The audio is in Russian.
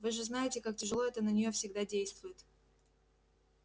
вы же знаете как тяжело это на неё всегда действует